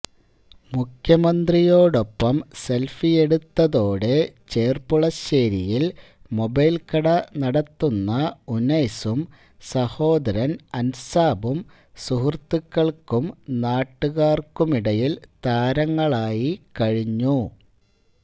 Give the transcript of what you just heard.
മുഖ്യമന്ത്രിയോടൊപ്പം സെൽഫിയെടുത്തതോടെ ചെർപ്പുളശ്ശേരിയിൽ മൊബൈൽ കട നടത്തുന്ന ഉനൈസും സഹോദരൻ അൻസാബും സുഹൃത്തുക്കൾക്കും നാട്ടുകാർക്കുമിടയിൽ താരങ്ങളായി കഴിഞ്ഞു